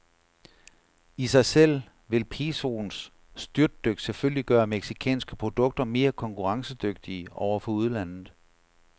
I sig selv vil pesoens styrtdyk selvfølgelig gøre mexicanske produkter mere konkurrencedygtige over for udlandet.